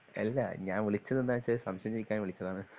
അല്ല ഞാൻ വിളിച്ചത് എന്താന്ന് വെച്ചാ സംശയം ചോദിക്കാൻ വിളിച്ചതാണ്